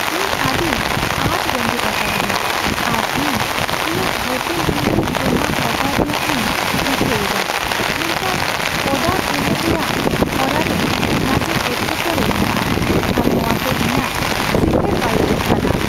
ᱤᱧ ᱟᱹᱰᱤ ᱟᱸᱴ ᱨᱮᱸᱜᱮᱡ ᱟᱠᱟᱫᱤᱧᱟᱹ, ᱟᱨ ᱤᱧ ᱤᱧᱟᱹᱜ ᱦᱳᱴᱮᱞ ᱨᱩᱢᱨᱮ ᱡᱚᱢᱟᱜ ᱚᱰᱟᱨ ᱨᱮᱭᱟᱜ ᱤᱧ ᱨᱤᱠᱟᱹᱭᱮᱫᱟ, ᱢᱮᱱᱠᱷᱟᱱ ᱚᱰᱟᱨ ᱮᱢᱚᱜ ᱨᱮᱭᱟᱜ ᱦᱚᱨᱟᱨᱮ ᱱᱟᱥᱮ ᱮᱴᱠᱮ ᱴᱚᱲᱮ ᱢᱮᱱᱟᱜᱼᱟ, ᱟᱨ ᱱᱚᱶᱟᱛᱮ ᱤᱧᱟᱹᱜ ᱥᱤᱸᱜᱟᱹᱲ ᱵᱟᱹᱲᱤᱡᱚᱜ ᱠᱟᱱᱟ ᱾